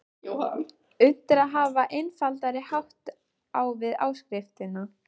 Unnt er að hafa einfaldari hátt á við áskriftina.